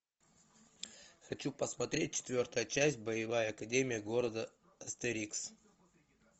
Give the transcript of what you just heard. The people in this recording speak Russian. хочу посмотреть четвертая часть боевая академия города астерикс